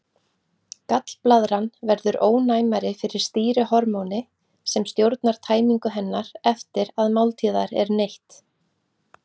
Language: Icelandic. Gallblaðran verður ónæmari fyrir stýrihormóni sem stjórnar tæmingu hennar eftir að máltíðar er neytt.